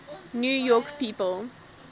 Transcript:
new york people